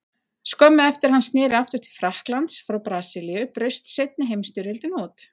Skömmu eftir að hann sneri aftur til Frakklands frá Brasilíu braust seinni heimsstyrjöldin út.